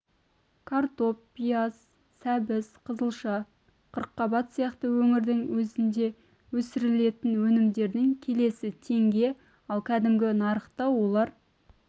картоп пияз сәбіз қызылша қырықбат сияқты өңірдің өзінде өсірілетін өнімдердің келісі теңге ал кәдімгі нарықта олар